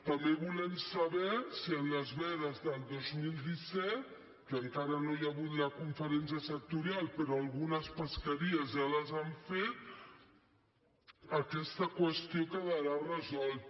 també volem saber si en les vedes del dos mil disset que encara no hi ha hagut la conferència sectorial però algunes pesqueries ja les han fet aquesta qüestió quedarà resolta